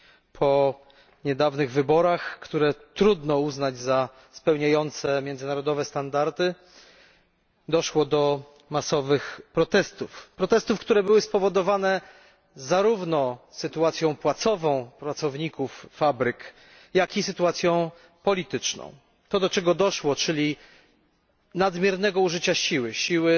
Po niedawnych wyborach, które trudno uznać za spełniające międzynarodowe standardy, doszło do masowych protestów spowodowanych zarówno sytuacją płacową pracowników fabryk, jak i sytuacją polityczną. Doszło do nadmiernego użycia siły